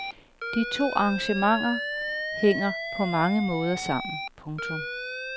De to arrangementer hænger på mange måder sammen. punktum